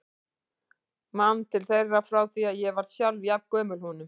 Man til þeirra frá því ég var sjálf jafn gömul honum.